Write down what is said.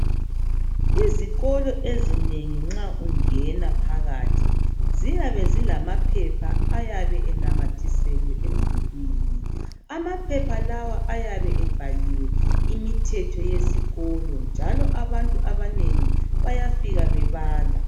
Izikolo ezinengi nxa ungena phakathi ziyabe zilama phepha ayabe enamathiselwe emdulwini amaphepha lawa ayabe ebhaliwe imithetho yesikolo njalo abantu bayafika bebala